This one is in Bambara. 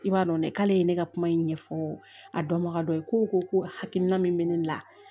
I b'a dɔn ne k'ale ye ne ka kuma in ɲɛfɔ a dɔnbaga dɔ ye ko o ko hakilina min bɛ ne la